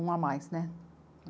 Um a mais, né?